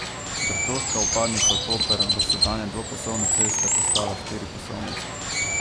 Bertoška vpadnica v Koper bo s sedanje dvopasovne ceste postala štiripasovnica.